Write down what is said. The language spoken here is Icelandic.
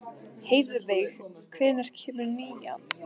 Heiðveig, hvenær kemur nían?